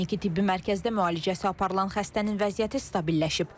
Kliniki tibbi mərkəzdə müalicəsi aparılan xəstənin vəziyyəti stabilləşib.